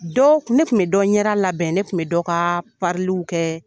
Dɔ, ne kun bɛ dɔ ɲɛda labɛn, ne kun bɛ dɔ ka pariliw kɛ.